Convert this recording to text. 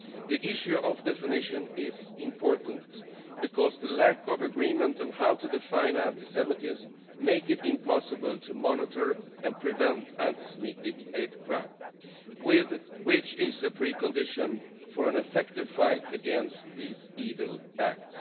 The issue of definition is important because the lack of agreement on how to define anti-Semitism makes it impossible to monitor and prevent anti Semitic hate crime, which is a precondition for an effective fight against these evil acts.